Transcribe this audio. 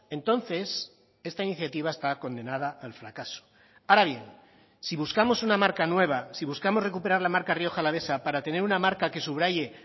entonces esta iniciativa está condenada al fracaso ahora bien si buscamos una marca nueva si buscamos recuperar la marca rioja alavesa para tener una marca que subraye